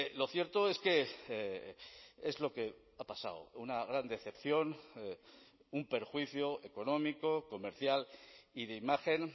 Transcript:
lo cierto es que es lo que ha pasado una gran decepción un perjuicio económico comercial y de imagen